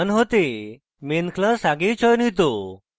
main হতে main class আগেই চয়নিত